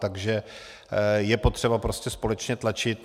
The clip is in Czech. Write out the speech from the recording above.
Takže je potřeba prostě společně tlačit.